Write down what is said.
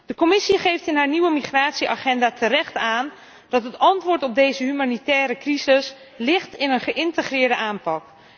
De Commissie geeft in haar nieuwe migratieagenda terecht aan dat het antwoord op deze humanitaire crisis ligt in een geïntegreerde aanpak.